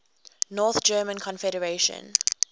north german confederation